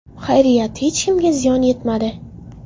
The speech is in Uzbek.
Xayriyat, hech kimga ziyon yetmadi.